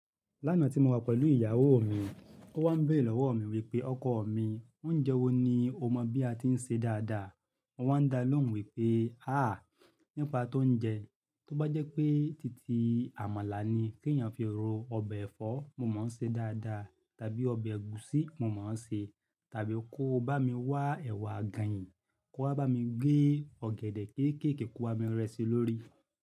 Lánàá tí mo wà pẹ̀lú ìyàwó mi, ó wá ń béèrè lọ́wọ́ mi wípé ọkọ mi oúnjẹ wo ni o mọ bí a ti ń ṣe dáadáa. Mo wa ń dá lóhùn wípé háà nípa tó ń jẹ tó bá jẹ́ pé titi àmàlà ni kí ẹ̀eyàn fi ro ọbẹ̀ ẹ̀fọ́ mo máa ṣe dáadáa tàbí ọbẹ̀ ẹ̀gúsí mo máa sè tàbí kó bá mi wá ẹ̀wà àgànyìn kó wá bá mi gé ọ̀gẹ̀dẹ̀ kéékèèké koo bami rẹ́ ṣi lórí.